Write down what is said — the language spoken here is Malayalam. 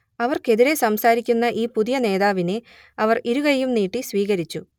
അവർക്കെതിരേ സംസാരിക്കുന്ന ഈ പുതിയ നേതാവിനെ അവർ ഇരുകൈയ്യും നീട്ടി സ്വീകരിച്ചു